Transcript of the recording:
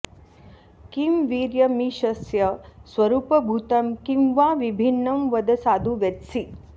किं वीर्यमीशस्य स्वरूपभूतं किं वा विभिन्नं वद साधु वेत्सि